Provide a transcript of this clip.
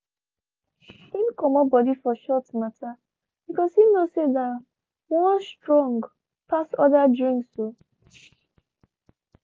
him comot body for shots mata because he knows say that one strong pass other drinks um